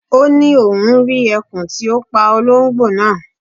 Ó ni oun ri ẹkùn ti o pa ológbò naa